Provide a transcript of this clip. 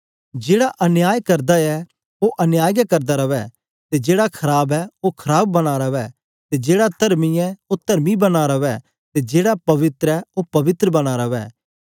जेहड़ा अन्याय करदा ऐ ओ अन्याय गै करदा रवै ते जेड़ा खराब ऐ ओ खराब बना रवै ते जेड़ा तरमी ऐ ओ तरमी बना रवै ते जेहड़ा पवित्र ऐ ओ पवित्र बना रवै